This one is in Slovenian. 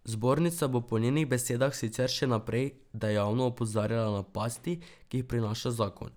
Zbornica bo po njenih besedah sicer še naprej dejavno opozarjala na pasti, ki jih prinaša zakon.